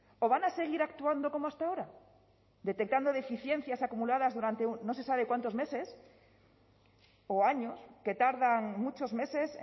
o van a seguir actuando como hasta ahora detectando deficiencias acumuladas durante no se sabe cuántos meses o años que tardan muchos meses